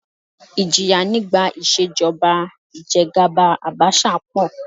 Ìjìyà nígbà ìṣèjọba ìjẹgàba Àbaṣà pọ̀